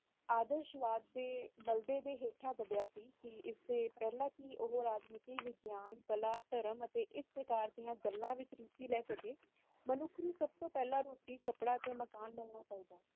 ਕੀ ਇਸ ਤੋ ਪਹਿਲਾ ਕਿ ਉਹ ਰਾਜਨੀਤੀ ਵਿਗਿਆਨ